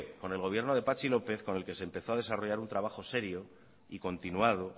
con el gobierno de patxi lópez con el que se empezó a desarrollar un trabajo serio y continuado